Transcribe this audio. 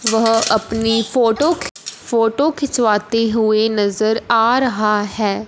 वह अपनी फोटो खि फोटो खिंचवाती हुई नजर आ रहा है।